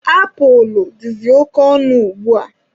Apulụ dịzị oke ọnụ ugbua.